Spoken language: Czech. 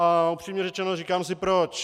A upřímně řečeno, říkám si proč.